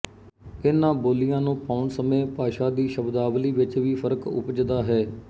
ਇਨ੍ਹਾਂ ਬੋਲੀਆ ਨੂੰ ਪਾਉਣ ਸਮੇਂ ਭਾਸ਼ਾ ਦੀ ਸ਼ਬਦਾਵਲੀ ਵਿੱਚ ਵੀ ਫ਼ਰਕ ਉਪਜਦਾ ਹੈ